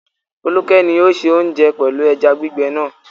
Folúkẹ́ ni ó se oúnjẹ pẹ̀lú ẹja gbígbẹ náà.